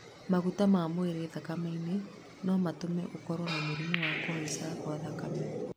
maguta ma mwĩrĩ thakame-inĩ no ĩtũme ũkorwo na mũrimũ wa kũhaica gwa thakame